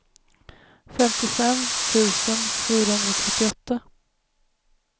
femtiofem tusen fyrahundratrettioåtta